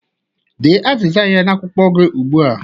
Dee azịza ya n'akwụkwọ gị ugbu a!